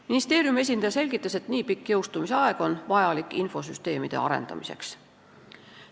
Ministeeriumi esindaja selgitas, et nii pikk jõustumise aeg on vajalik infosüsteemide arendamiseks.